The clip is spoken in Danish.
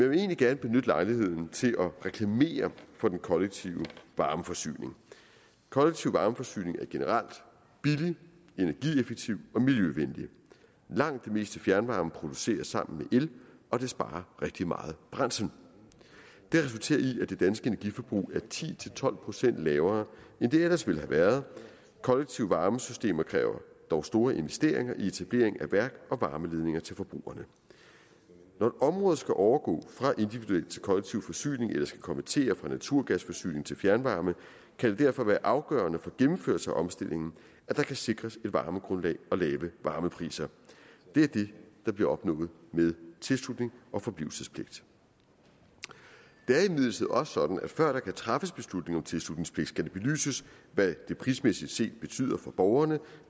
vil egentlig gerne benytte lejligheden til at reklamere for den kollektive varmeforsyning kollektiv varmeforsyning er generelt billig energieffektiv og miljøvenlig langt det meste fjernvarme produceres sammen med el og det sparer rigtig meget brændsel det har resulteret i at det danske energiforbrug er ti til tolv procent lavere end det ellers ville været kollektive varmesystemer kræver dog store investeringer i etablering af værk og varmeledninger til forbrugerne når et område skal overgå fra individuel til kollektiv forsyning eller skal konvertere fra naturgasforsyning til fjernvarme kan det derfor være afgørende for gennemførelse af omstillingen at der kan sikre et varmegrundlag og lave varmepriser det er det der bliver opnået med tilslutnings og forblivelsespligt det er imidlertid også sådan at før der kan træffes beslutning om tilslutningspligt skal det belyses hvad det prismæssigt set betyde for borgerne